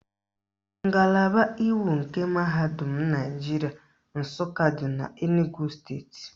Ngalaba iwu nke Mahadum Naijiria Nsụka dị n'Enugwu steeti